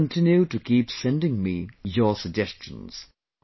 Do continue to keep sending me your suggestions